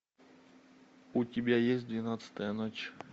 у тебя есть двенадцатая ночь